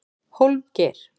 Hólmgeir